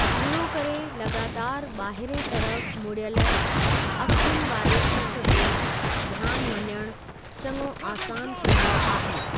घणो करे लॻातार ॿाहिरिएं तर्फ़ु मुड़ियल अखयुनि वारे शख़्सु ते ध्यानु वञणु चङो आसान थींदो आहे।